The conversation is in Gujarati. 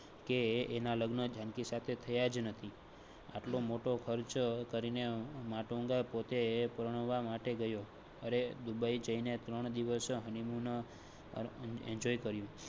કે એના લગ્ન જાનકી સાથે થયાજ નથી. આટલો મોટો ખર્ચ કરી ને માટુંગા પોતે પરણવા માટે ગયો. અરરે દુબઇ જાયઈને ત્રણ દિવસ honeymoon enjoy કર્યો.